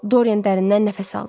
Doryen dərindən nəfəs aldı.